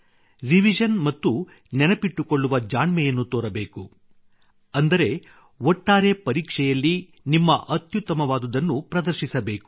revision ಮತ್ತು ನೆನಪಿಟ್ಟುಕೊಳ್ಳುವ ಜಾಣ್ಮೆಯನ್ನು ತೋರಬೇಕು ಅಂದರೆ ಒಟ್ಟಾರೆ ಪರೀಕ್ಷೆಯಲ್ಲಿ ನಿಮ್ಮ ಅತ್ಯುತ್ತಮವಾದುದನ್ನು ಪ್ರದರ್ಶಿಸಬೇಕು